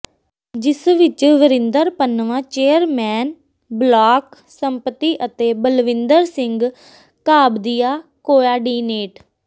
ਜਿਸ ਵਿਚ Varinder Pannwan chairman block ਸੰਮਤੀ ਅਤੇ ਬਲਵਿੰਦਰ ਸਿੰਘ ਘਾਬਦੀਆ ਕੋਆਡੀਨੇਟ